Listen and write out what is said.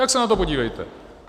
Tak se na to podívejte!